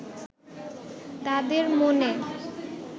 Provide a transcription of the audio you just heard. তাঁদের মনে